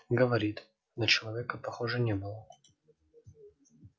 говорит на человека похоже не было